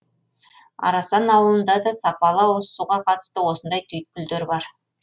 арасан ауылында да сапалы ауызсуға қатысты осындай түйткілдер бар